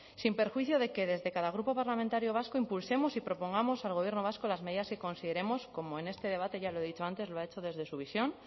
sin perjuicio de que desde cada grupo parlamentario vasco impulsemos y propongamos al gobierno vasco las medidas que consideremos como en este debate ya lo he dicho antes lo ha hecho desde su visión